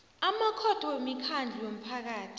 amakhotho wemikhandlu yomphakathi